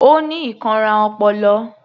Ó ní ìkanra ọpọlọ